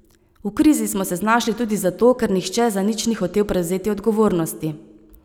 V krizi smo se znašli tudi zato, ker nihče za nič ni hotel prevzeti odgovornosti.